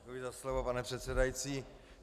Děkuji za slovo, pane předsedající.